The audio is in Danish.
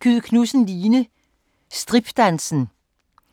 Kyed Knudsen, Line: Stripdansen